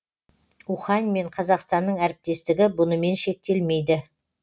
ухань мен қазақстанның әріптестігі бұнымен шектелмейді